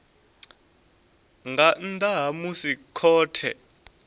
nga nnḓa ha musi khothe